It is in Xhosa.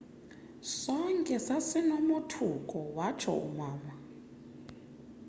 sonke sasinomothuko wathso umama